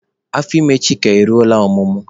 Ime Chika eruola ọmụmụ.